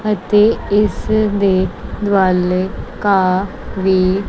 ਅਤੇ ਇਸਦੇ ਵੱਲ ਘਾਹ ਵੀ--